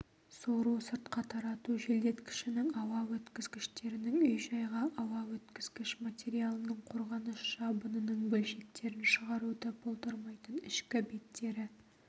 сору-сыртқа тарату желдеткішінің ауа өткізгіштерінің үй-жайға ауа өткізгіш материалының қорғаныш жабынының бөлшектерін шығаруды болдырмайтын ішкі беттері